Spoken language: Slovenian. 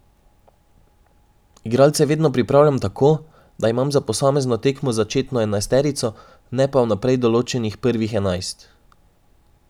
Igralce vedno pripravljam tako, da imam za posamezno tekmo začetno enajsterico, ne pa vnaprej določenih prvih enajst.